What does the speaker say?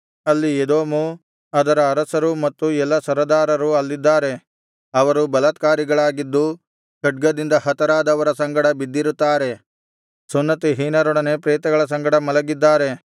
ಅಲ್ಲಿ ಎದೋಮು ಅದರ ಅರಸರೂ ಮತ್ತು ಎಲ್ಲಾ ಸರದಾರರೂ ಅಲ್ಲಿದ್ದಾರೆ ಅವರು ಬಲಾತ್ಕಾರಿಗಳಾಗಿದ್ದು ಖಡ್ಗದಿಂದ ಹತರಾದವರ ಸಂಗಡ ಬಿದ್ದಿರುತ್ತಾರೆ ಸುನ್ನತಿಹೀನರೊಡನೆ ಪ್ರೇತಗಳ ಸಂಗಡ ಮಲಗಿದ್ದಾರೆ